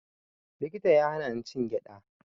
Likita ya hana ni cin gyaɗa